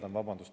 Vabandust!